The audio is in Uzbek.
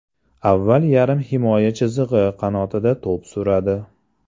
Avval yarim himoya chizig‘i qanotida to‘p suradi.